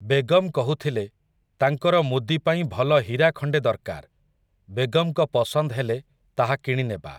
ବେଗମ୍ କହୁଥିଲେ, ତାଙ୍କର ମୁଦି ପାଇଁ ଭଲ ହୀରା ଖଣ୍ଡେ ଦର୍କାର୍, ବେଗମ୍‌ଙ୍କ ପସନ୍ଦ ହେଲେ, ତାହା କିଣି ନେବା ।